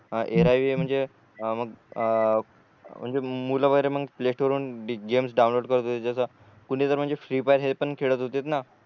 अ म्हणजे मग मुल वगेरे मग प्लेस्टोर वरून गेम्स डाऊनलोड करत होते जस कुणी जर म्हणजे फ्री फायर हे पण खेळत होते न